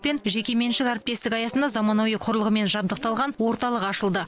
пен жекеменшік әріптестігі аясында заманауи құрылғымен жабдықталған орталық ашылды